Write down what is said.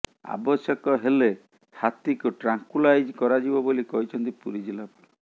ଆବଶ୍ୟକ ହେଲେ ହାତୀକୁ ଟ୍ରାଙ୍କୁଲାଇଜ୍ କରାଯିବ ବୋଲି କହିଛନ୍ତି ପୁରୀ ଜିଲ୍ଳାପାଳ